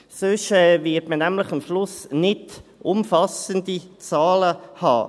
Sonst wird man nämlich am Schluss nicht umfassende Zahlen haben.